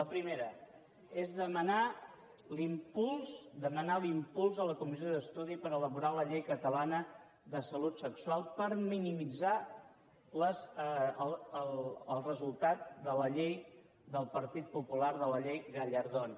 la primera és demanar l’impuls de la comissió d’estudi per elaborar la llei catalana de salut sexual per minimitzar el resultat de la llei del partit popular de la llei gallardón